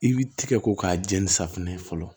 I b'i tigɛ ko k'a jɛ ni safinɛ ye fɔlɔ